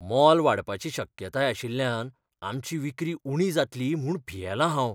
मोल वाडपाची शक्यताय आशिल्ल्यान आमची विक्री उणी जातली म्हूण भियेला हांव.